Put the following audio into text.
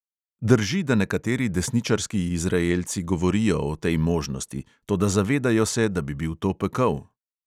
Drži, da nekateri desničarski izraelci govorijo o tej možnosti, toda zavedajo se, da bi bil to pekel.